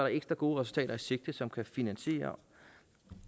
ekstra gode resultater i sigte som kan finansiere